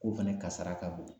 Ko fɛnɛ kasara ka bon.